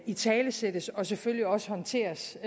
italesættes og selvfølgelig også håndteres